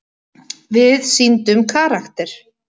Við sýndum karakter.